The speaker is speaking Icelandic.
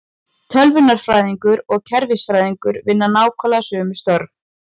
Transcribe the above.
Tölvunarfræðingar og kerfisfræðingar vinna nákvæmlega sömu störf.